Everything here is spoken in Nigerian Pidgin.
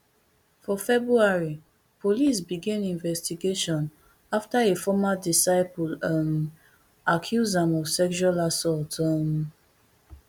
for february police begin investigation afta a former disciple um accuse am of sexual assault um